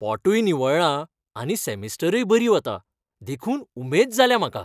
पोटय निवळ्ळां आनी सेमिस्टरय बरी वता, देखून उमेद जाल्या म्हाका.